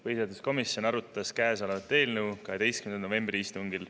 Põhiseaduskomisjon arutas käesolevat eelnõu 12. novembri istungil.